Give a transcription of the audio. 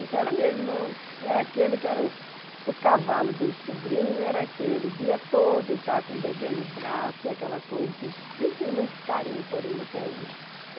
Então era meu irmão, era aquele que era o o cavalo dos sobrinhos, era aquele, o dia todo, está com o bebê no braço e aquela coisa que os filhos têm muito carinho por ele até hoje.